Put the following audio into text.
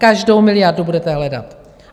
Každou miliardu budete hledat.